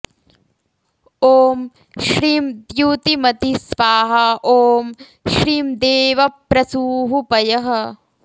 ॐ श्रीं द्युतिमति स्वाहा ॐ श्रीं देवप्रसूः पयः